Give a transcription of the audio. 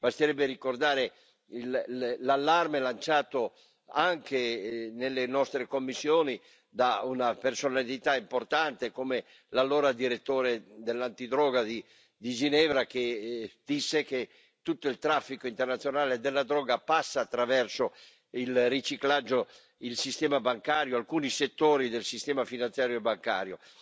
Basterebbe ricordare l'allarme lanciato anche nelle nostre commissioni da una personalità importante come l'allora direttore dell'antidroga di Ginevra, che disse che tutto il traffico internazionale della droga passa attraverso il riciclaggio, il sistema bancario, alcuni settori del sistema finanziario e bancario.